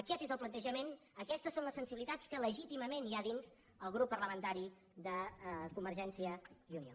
aquest és el plantejament aquestes són les sensibilitats que legítimament hi ha dins el grup parlamentari de convergència i unió